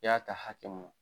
I y'a ka hakɛ mun